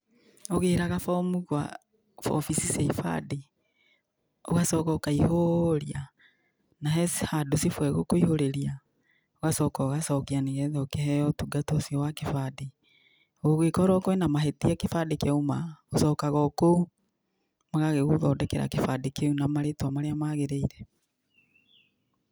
Ũgĩraga bomu kwa obici cia ibandĩ, ũgacoka ũkaihũũria na he handũ cibũ egũkũihũrĩria, ũgacoka ũgacokia nĩgetha ũkĩheyo ũtungata ũcio wa kĩbandĩ. Gũgĩkorwo kwĩna mahĩtia kĩbandĩ kĩauma, ũcokaga kũu, magagĩgũthondekera kĩbandĩ kĩu na marĩtwa marĩa magĩrĩire.